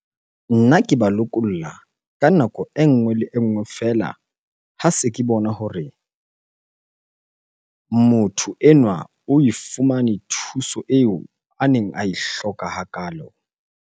Nna ke ba lokolla ka nako e nngwe le nngwe feela ha se ke bona hore motho enwa oe fumane thuso eo a neng ae hloka hakalo.